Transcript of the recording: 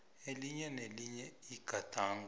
elinye nelinye igadango